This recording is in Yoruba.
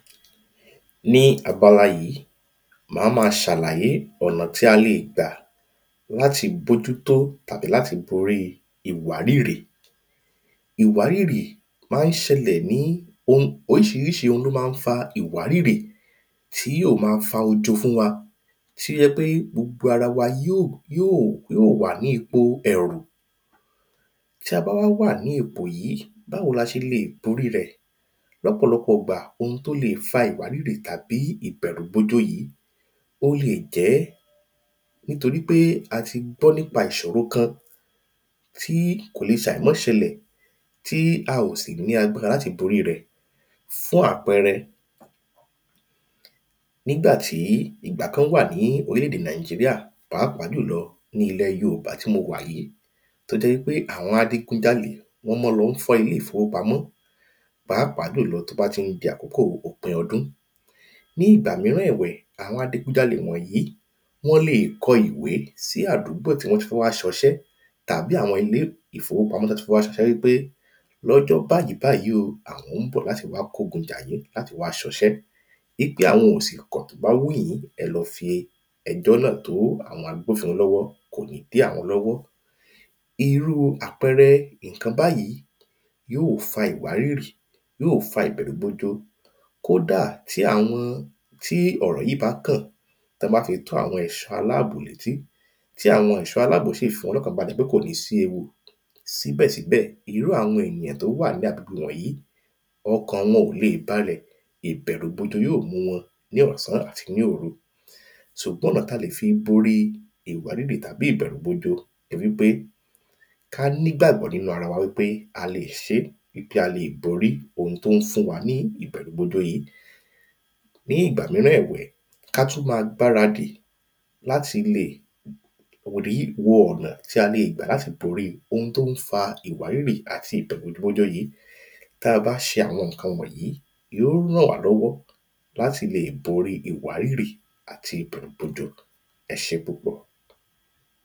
Ní abala yìí máa màá ṣàlàyé ọ̀nà tí a lè gbà láti bójútó tàbí láti borí ìwárìrì Ìwárìrì máa ń ṣẹlẹ̀ ní o oríṣiríṣi oun ni ó máa ń fa ìwárìrì tí yóò ma ń fa ojo fún wa tí ó jẹ́ pé gbogbo ara wa yóò yóò wà ní ipò ẹ̀rù Tí a bá wá wà ní ipò yìí báwo ni a ṣe lè borí rẹ̀ Lọ́pọ̀lọpọ̀ ìgbà oun tí ó lè fa ìwárìrì tàbí ìbẹ̀rùbojo yìí ó lè jẹ́ nítori pé a ti gbọ́ nípa ìṣòro kan tí kò lè ṣe àìmáṣẹlẹ̀ tí a ò sì ní agbára láti borí rẹ̀ Fún àpẹẹrẹ Nígbà tí ìgbà kan wà ní orílẹ̀ èdè Nigeria pàápàá jù lọ ní ilẹ̀ yòòbá tí mo wà yìí tí ó jẹ́ ń pé àwọn adigunjalè wọ́n máa ń lọ fọ́ ilé ìfowópamọ́ Pàápàá jù lọ tí ó bá tí ń di àkókò òpin ọdún Ní ìgbà mìíràn ẹ̀wẹ̀ àwọn adigunjalè wọ̀nyìí wọ́n lè kọ ìwé sí àdúgbò tí wọ́n tí fẹ́ wá ṣe ọṣẹ́ tàbí àwọn ilé ìfowópamọ́ tí wọn tí fẹ́ wá ṣe ọṣẹ́ wípé ní ọjọ́ báyì báyì o àwọn ń bọ̀ láti wá kó ogun jà yín láti wá ṣe ọṣẹ́ Wípé àwọn ò sì kọ̀ tí ó bá wùn yín ẹ lọ fi ẹjọ́ náà tó àwọn agbófinró lọ́wọ́ kò ní dí àwọn lọ́wọ́ Irú àpẹẹrẹ nǹkan báyì yóò fa ìwárìrì yóò fa ìbẹ̀rùbojo Kódà tí àwọn tí ọ̀rọ̀ yìí bá kàn tí wọ́n bá fi tó àwọn ẹ̀ṣọ́ aláàbò ní etí tí àwọn ẹ̀ṣọ́ aláàbò sì fiwọ́nlokànbalẹ̀ pé kò ní sí ewu síbẹ̀síbẹ̀ irú àwọn ènìyàn tí ó wà ní agbègbè wọ̀nyìí ọkàn wọn ò lè balẹ̀ Ṣùgbọ́n ọ̀nà tí a lè fi borí ìwárìrì tàbí ìbẹ̀rùbojo ni wípé Kí a ní ìgbàgbọ́ nínú ara wa wípé a lè ṣé a lè borí oun tí ó ń fún wa ní ìbẹ̀rùbojo yìí Ní ìgbà mìíràn ẹ̀wẹ̀ kí a tún máa gbaradì láti lè Wọn ọ̀nà tí a lè gbà láti borí oun tí ó ń fa ìwárìrì àti ìbẹ̀rùbojo yìí Tí a bá ṣe àwọn nǹkan wọ̀nyìí yóò rànwálọ́wọ́ láti lè borí ìwárìrì àti ìbẹ̀rùbojo E ṣé púpọ̀